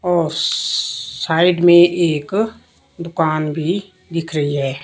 औस स साइड में एक दुकान भी दिख रही है।